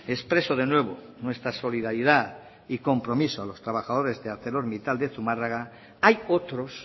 expreso de nuevo nuestra solidaridad y compromiso a los trabajadores de arcelormittal de zumarraga hay otros